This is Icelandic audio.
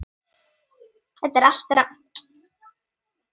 Þetta er allt rangt.